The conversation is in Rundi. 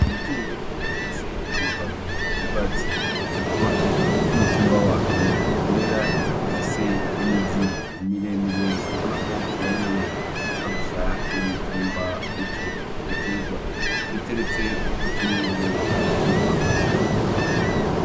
Ibitunguru bifise amababi y'urwatsi rutoto n'umutumba wavyo vyera bifise imizi miremire ubona ko nayonyene ishaka gusa n'umutumba wico giterwa biteretse kutuyungiro tw'icuma